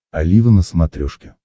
олива на смотрешке